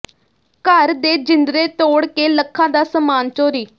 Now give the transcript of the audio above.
ਘਰ ਦੇ ਜਿੰਦਰੇ ਤੋੜ ਕੇ ਲੱਖਾਂ ਦਾ ਸਮਾਨ ਚੋਰੀ